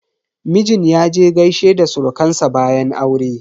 Mijin yaje gaishe da surukan sa bayan aure.